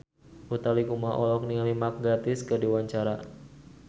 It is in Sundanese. Utha Likumahua olohok ningali Mark Gatiss keur diwawancara